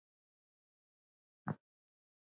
En verður þar breyting á?